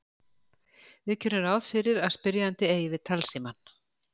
Við gerum ráð fyrir að spyrjandi eigi við talsímann.